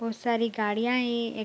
और सारी गाड़ियां हीं एक --